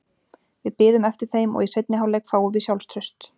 Við biðum eftir þeim og í seinni hálfleik fáum við sjálfstraust.